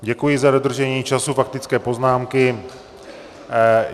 Děkuji za dodržení času faktické poznámky.